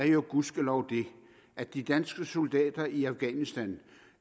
jo gudskelov det at de danske soldater i afghanistan